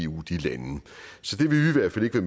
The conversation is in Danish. hvert fald ikke